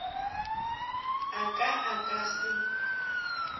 a ka a ka se